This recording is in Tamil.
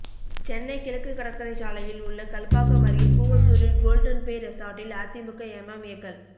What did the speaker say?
சென்னை கிழக்குக் கடற்கரைச் சாலையில் உள்ள கல்பாக்கம் அருகே கூவத்தூரில் கோல்டன் பே ரெசார்ட்டில் அதிமுக எம்எம்ஏக்கள்